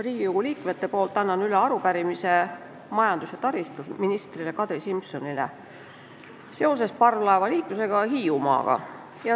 Riigikogu liikmetest saarte esindajate nimel annan majandus- ja taristuministrile Kadri Simsonile üle arupärimise parvlaevaliikluse kohta Hiiumaaga.